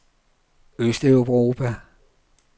østeuropa